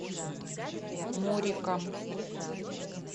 муриком